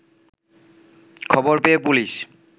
খবর পেয়ে পুলিশ